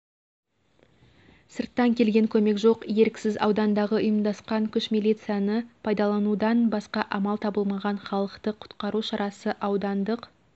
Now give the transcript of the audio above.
сырттан келген көмек жоқ еріксіз аудандағы ұйымдасқа күш милицияны пайдаланудан басқа амал табылмаған халықты құтқару шарасы аудандық